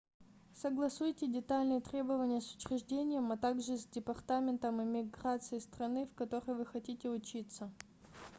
согласуйте детальные требования с учреждением а так же с департаментом иммиграции страны в которой вы хотите учиться